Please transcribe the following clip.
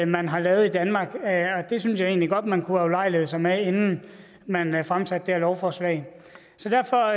man har lavet i danmark det synes jeg godt man kunne have ulejliget sig med inden man man fremsatte det her lovforslag så derfor